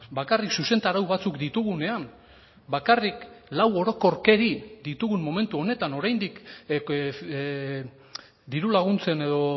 bakarrik zuzentarau batzuk ditugunean bakarrik lau orokorkeri ditugun momentu honetan oraindik diru laguntzen edo